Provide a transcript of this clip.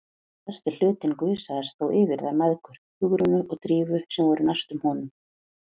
Stærsti hlutinn gusaðist þó yfir þær mæðgur, Hugrúnu og Drífu, sem voru næstar honum.